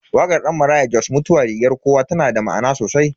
Wakar Dan Maraya Jos "Mutuwa rigar kowa" tana da ma'ana sosai.